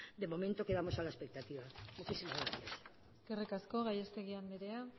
de momento quedamos a la expectativa muchísimas gracias eskerrik asko gallastegui andrea